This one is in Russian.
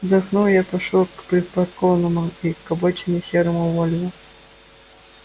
вздохнув я пошёл к припаркованному к обочине серому вольво